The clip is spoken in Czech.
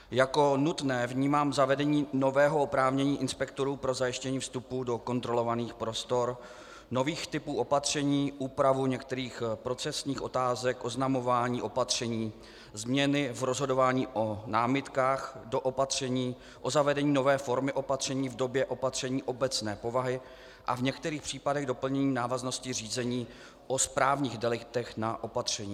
Jako nutné vnímám zavedení nového oprávnění inspektorů pro zajištění vstupu do kontrolovaných prostor, nových typů opatření, úpravu některých procesních otázek oznamování opatření, změny v rozhodování o námitkách do opatření, o zavedení nové formy opatření v době opatření obecné povahy a v některých případech doplnění návaznosti řízení o správních deliktech na opatření.